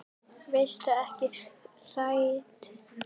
Varstu ekki hrædd?